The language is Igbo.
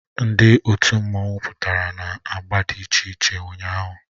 Ndị otu mmanwụ pụtara na agba dị iche iche ụnyahụ